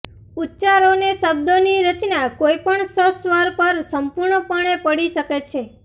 ઉચ્ચારોને શબ્દો ની રચના કોઈપણ સસ્વર પર સંપૂર્ણપણે પડી શકે છે